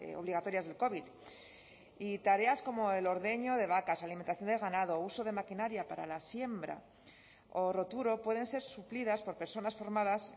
obligatorias del covid y tareas como el ordeño de vacas alimentación del ganado uso de maquinaria para la siembra o roturo pueden ser suplidas por personas formadas